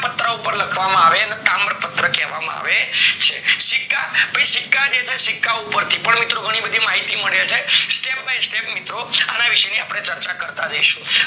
પત્ર ઉપર લખવામાં આવે એને તામ્રપત્ર કહેવામાં આવે છે. સિક્કા? ભાઈ સિક્કા જે છે, સિક્કા ઉપર મિત્રો ઘણી બધી માહિતી મળે છે. Step by step મિત્રો આને વિશેની આપણે ચર્ચા કરતા રહેશું.